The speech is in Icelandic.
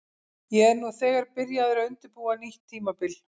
Ég er nú þegar byrjaður að undirbúa nýtt tímabil.